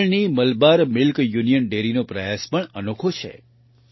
કેરળની Malabar milk union dairy નો પ્રયાસ પણ અનોખો છે